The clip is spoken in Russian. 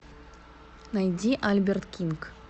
найди альберт кинг